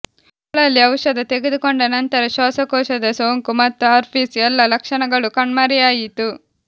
ಮಕ್ಕಳಲ್ಲಿ ಔಷಧ ತೆಗೆದುಕೊಂಡ ನಂತರ ಶ್ವಾಸಕೋಶದ ಸೋಂಕು ಮತ್ತು ಹರ್ಪೀಸ್ ಎಲ್ಲ ಲಕ್ಷಣಗಳು ಕಣ್ಮರೆಯಾಯಿತು